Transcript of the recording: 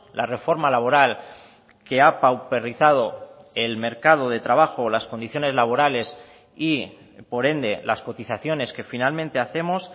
la reforma laboral que ha pauperizado el mercado de trabajo las condiciones laborales y por ende las cotizaciones que finalmente hacemos